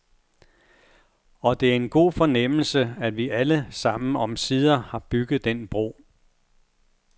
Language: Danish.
Og det er en god fornemmelse, at vi alle sammen omsider har bygget den bro.